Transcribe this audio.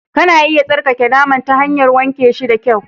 Kana iya tsarkake naman ta hanyar wanke shi da kyau